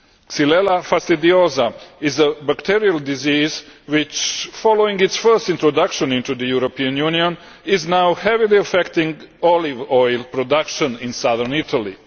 Xylella fastidiosa is a bacterial disease which, following its first introduction into the European Union, is now heavily affecting olive oil production in southern Italy.